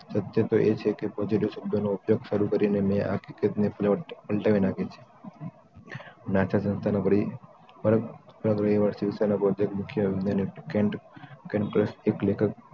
subject એ છે કે positive શબ્દોનો ઉપયોગ શરૂ કરીને મે આ ક્રિકેટ પ્લેટ પલટાવી નાખી છે નાટા સંસ્થા ન કરી પરમ સંસ્થાના બોથક મુખ્ય કેન ફિલિપ્સ એક લેખક